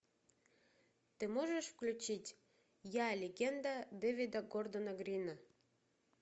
ты можешь включить я легенда дэвида гордона грина